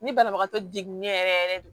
Ni banabagatɔ degunnen yɛrɛ yɛrɛ don